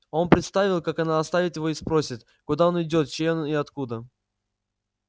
он представил как она оставит его и спросит куда он идёт чей он и откуда